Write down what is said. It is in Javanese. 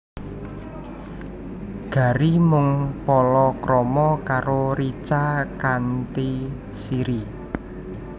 Gary mung palakrama karo Richa kanthi Siri